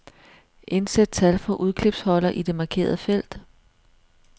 Indsæt tal fra udklipsholder i det markerede felt.